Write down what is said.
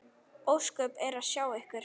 Ósköp er að sjá ykkur.